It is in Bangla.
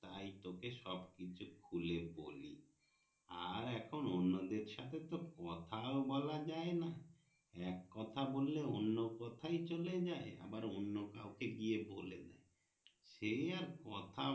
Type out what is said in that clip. তাই তোকে সব কিছু খুলে বলি আর এখন তো অন্য দেড় সাথে তো কথা বলা যাই না এককথা বললে অন্য কথায় চলে যাই আবার অন্য কাওকে গিয়ে বলে দেয় সেই আর